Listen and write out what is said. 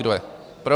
Kdo je pro?